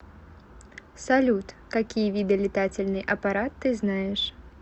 салют какие виды летательный аппарат ты знаешь